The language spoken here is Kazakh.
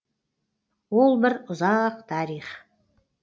ол бір ұзақ тарих